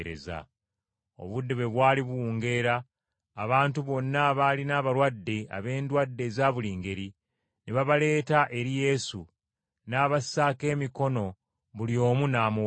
Obudde bwe bwali buwungeera, abantu bonna abaalina abalwadde ab’endwadde eza buli ngeri, ne babaleeta eri Yesu, n’abassaako emikono buli omu n’amuwonya.